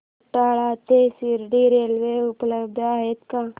खंडाळा ते शिर्डी रेल्वे उपलब्ध आहे का